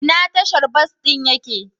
Ina tashar bas ɗin ya ke?